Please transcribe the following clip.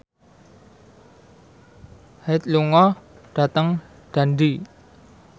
Hyde lunga dhateng Dundee